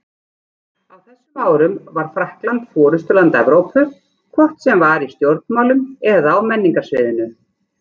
Á þessum árum var Frakkland forystuland Evrópu, hvort sem var í stjórnmálum eða á menningarsviðinu.